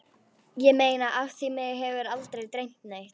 Ég meina af því mig hefur aldrei dreymt neitt.